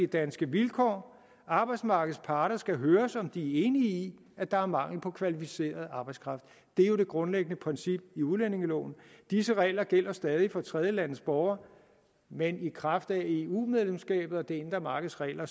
danske vilkår arbejdsmarkedets parter skal høres om de er enige i at der er mangel på kvalificeret arbejdskraft det er jo det grundlæggende princip i udlændingeloven disse regler gælder stadig for tredjelandes borgere men i kraft af eu medlemskabet og det indre markeds regler